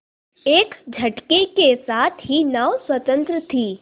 एक झटके के साथ ही नाव स्वतंत्र थी